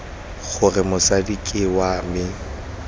gore mosadi ke wa me